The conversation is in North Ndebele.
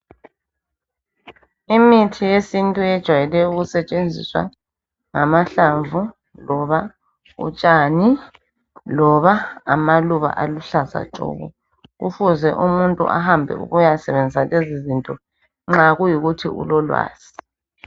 Imithi yesintu ejwayele ukusetshenziswa ngamahlamvu, loba utshani, loba amaluba aluhlaza tshoko. Kufuze umuntu ahambe ukuyasebenzisa lezi zinto nxa kuyikuthi ulolwazi.